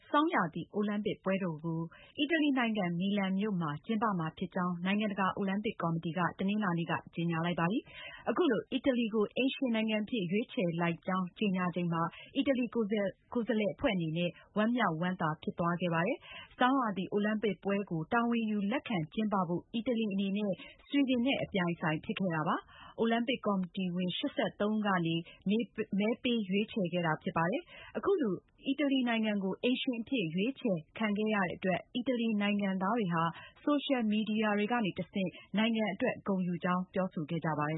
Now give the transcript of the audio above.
ဆောင်းရာသီ အိုလံပစ်ပွဲတော်ကို အီတလီနိုင်ငံ Milan မြို့နဲ့ Cortina d’Ampezzo မြို့တွေမှာ ကျင်းပမယ်လို့ နိုင်ငံတကာ အိုလံပစ်ကော်မတီက တနင်္လာနေ့က ကြေညာလိုက်ပါတယ်။ အခုလို အီတလီကို အိမ်ရှင်နိုင်ငံအဖြစ် ရွေးချယ်လိုက်ကြောင်း ကြေညာချိန်မှာ အီတလီ ကိုယ်စားလှယ် အဖွဲ့အနေနဲ့ ဝမ်းမြောက်ဝမ်းသာဖြစ်သွားခဲ့ပါတယ်။ ဆောင်းရာသီ အိုလံပစ်ပွဲကို တာဝန်ခံ လက်ခံကျင်းပဖို့ အီတလီအနေနဲ့ ဆွီဒင်နဲ့ အပြိုင်အဆိုင်ဖြစ်ခဲ့တာပါ။ အိုလံပစ် ကော်မတီဝင် ၈၃ ဦးကနေ မဲပေးရွေးချယ်ခဲ့တာဖြစ်ပြီး အီတလီအတွက် ၄၇ မဲနဲ့ ဆွီဒင် အတွက် ၃၄ မဲ ရရှိခဲ့တာ ဖြစ်ပါတယ်။ အခုလို အီတလီနိုင်ငံကို အိမ်ရှင်အဖြစ် ရွေးချယ်ခဲ့တဲ့အတွက် အီတလီနိုင်ငံသားတွေဟာ ဆိုရှယ်မီဒီယာ တွေကနေ နိုင်ငံအတွက် ဂုဏ်ယူကြောင်း ဖေါ်ပြခဲ့ကြပါတယ